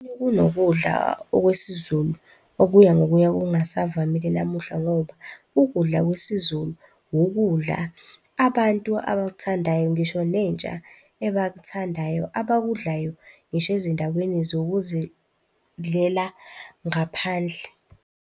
Kunokudla okwesiZulu okuya ngokuya kungasavamile namuhla ngoba ukudla kwesiZulu wukudla abantu abakuthandayo, ngisho nentsha ebakuthandayo abakudlayo ngisho ezindaweni zokuzidlela ngaphandle.